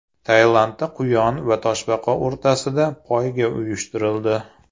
Tailandda quyon va toshbaqa o‘rtasida poyga uyushtirildi.